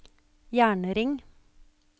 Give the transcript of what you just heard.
jernring